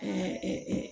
A